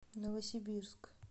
новосибирск